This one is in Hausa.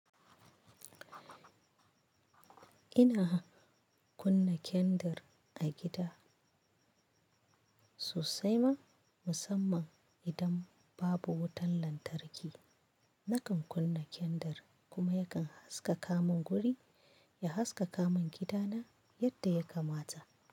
Ina kunna kendir a gida sosai ma musamman idan babu wutan lantarki. Nakan kunna kendir kuma yakan haskaka min guri, ya haskaka min gida na yadda ya kamata.